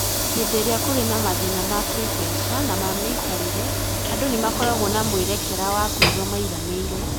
Hĩndĩ ĩrĩa kũrĩ na mathĩna ma kĩĩmbeca na ma mĩikarĩre, andũ nĩ makoragwo na mwerekera wa kũigua maiganĩire.